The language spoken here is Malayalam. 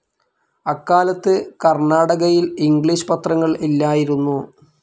അക്കാലത്ത് കർണാടകയിൽ ഇംഗ്ലീഷ് പത്രങ്ങൾ ഇല്ലായിരുന്നു.